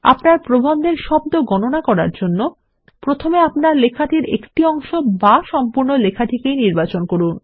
আপনার প্রবন্ধের একটি শব্দ গণনা বজায় রাখার জন্য প্রথমে আপনার লেখার একটি অংশ বা সম্পূর্ণ লেখাটিকেই নির্বাচন করুন